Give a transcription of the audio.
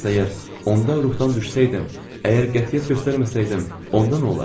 Bəs əgər onda ruhdan düşsəydim, əgər qətiyyət göstərməsəydim, onda nə olardı?